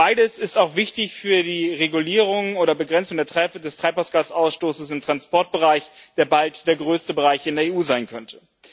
Beides ist auch wichtig für die Regulierung oder Begrenzung des Treibhausgasausstoßes im Transportbereich, der bald der größte Bereich in der EU sein könnte.